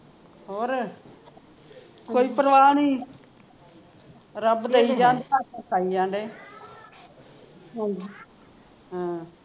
ਹੋਰ ਕੋਈ ਪਰਵਾਹ ਨਹੀਂ ਰੱਬ ਦੇਈ ਜਾਣ ਖਾਇ ਜਾਣ ਢੇ ਹਾਂ